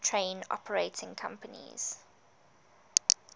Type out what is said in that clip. train operating companies